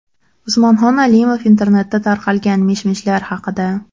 Usmonxon Alimov internetda tarqalgan mish-mishlar haqida.